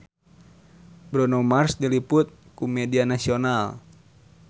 Bruno Mars diliput ku media nasional